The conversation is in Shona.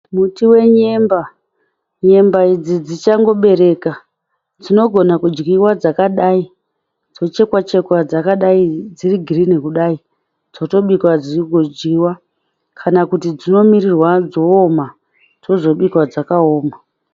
Muti wenyemba. Nyemba idzi dzichangobereka. Dzinogona kudyiwa dzakadai dzochekwa chekwa dzakadai dziri girini kudai. Dzotobikwa dzigodyiwa kana kuti dzinomirirwa dzooma dzozobikwa dzaoma.